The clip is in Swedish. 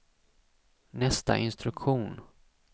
nästa instruktion